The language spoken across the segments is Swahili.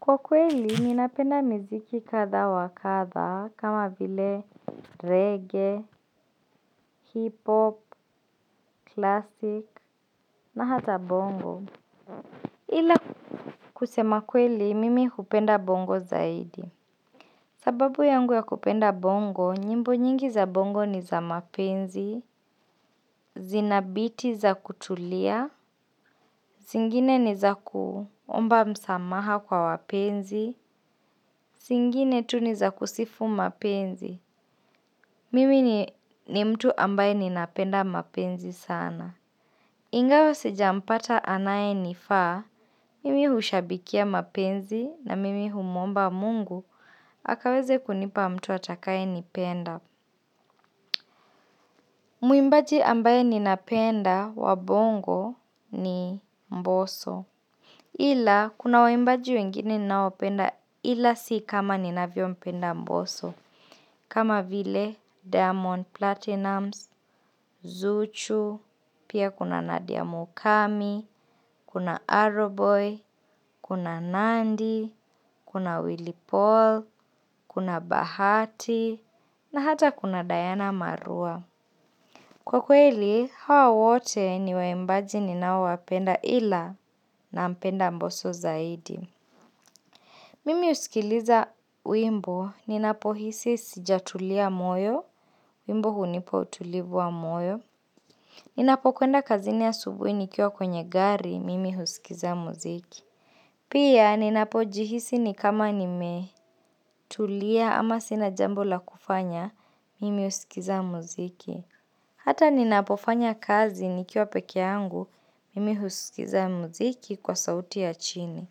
Kwa kweli, ninapenda miziki kadha wa kadha, kama vile reggae, hip-hop, classic, na hata bongo. Ila kusema kweli, mimi hupenda bongo zaidi. Sababu yangu ya kupenda bongo, nyimbo nyingi za bongo ni za mapenzi, zina biti za kutulia, zingine ni za kuomba msamaha kwa wapenzi, zingine tu ni za kusifu mapenzi. Mimi ni mtu ambaye ninapenda mapenzi sana. Ingawa sijampata anayenifaa, mimi hushabikia mapenzi na mimi humwomba mungu akaweze kunipa mtu atakayenipenda. Mwimbaji ambaye ninapenda wa bongo ni mboso. Ila, kuna waimbaji wengine ninaopenda ila si kama ninavyompenda mboso. Kama vile, diamond platnumz, zuchu, pia kuna nadia mukami, kuna arrow boy, kuna nandy, kuna willy paul, kuna bahati, na hata kuna diana marua. Kwa kweli hao wote ni waimbaji ninaowapenda ila nampenda mbosso zaidi. Mimi husikiliza wimbo ninapohisi sijatulia moyo, wimbo hunipa utulivu wa moyo. Ninapokwenda kazini asubuhi nikiwa kwenye gari mimi husikiza muziki. Pia ninapojihisi ni kama nimetulia ama sina jambo la kufanya, mimi husikiza muziki. Hata ninapofanya kazi nikiwa peke yangu, mimi husikiza muziki kwa sauti ya chini.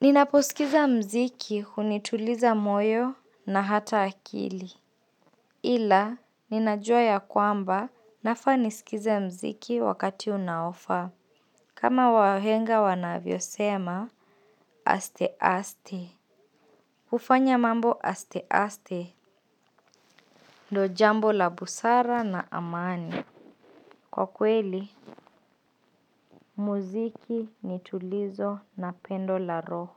Ninaposikiza muziki hunituliza moyo na hata akili. Ila, ninajua ya kwamba nafaa nisikize muziki wakati unaofaa. Kama wahenga wanavyosema, aste aste. Hufanya mambo aste aste. Ndiyo jambo la busara na amani. Kwa kweli, muziki ni tulizo na pendo la roho.